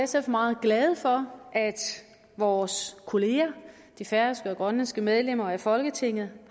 sagt meget glade for at vores kolleger de færøske og grønlandske medlemmer af folketinget